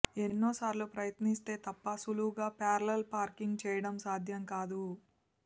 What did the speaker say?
ఎన్నోసార్లు ప్రయత్నిస్తే తప్ప సులువుగా ప్యారలల్ పార్కింగ్ చేయటం సాధ్యం కాదు